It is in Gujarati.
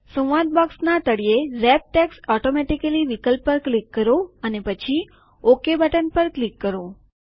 સંવાદ બોક્સનાં તળિયે રેપ ટેક્સ્ટ ઓટોમેટીકલી વિકલ્પ પર ક્લિક કરો અને પછી ઓકે બટન પર ક્લિક કરો